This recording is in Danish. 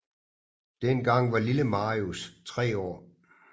Dengang var Lille Marius tre år